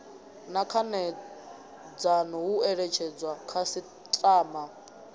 na khanedzano hu eletshedzwa khasiṱama